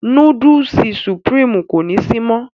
Núdùùsì Sùprììmú kò ni sí mọ.